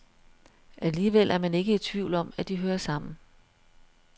Alligevel er man ikke i tvivl om, at de hører sammen.